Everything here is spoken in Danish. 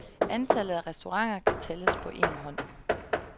Antallet af restauranter kan tælles på en hånd.